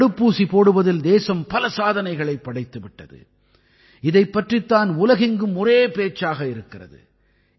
தடுப்பூசி போடுவதில் தேசம் பல சாதனைகளைப் படைத்து விட்டது இதைப் பற்றித் தான் உலகெங்கும் ஒரே பேச்சாக இருக்கிறது